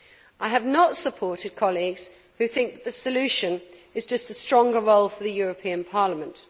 I have not supported colleagues who think the solution is just a stronger role for the European Parliament.